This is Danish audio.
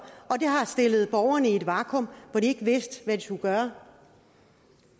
og det har stillet borgerne i et vakuum hvor de ikke vidste hvad de skulle gøre